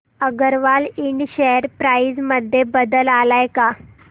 अगरवाल इंड share price मध्ये बदल आलाय का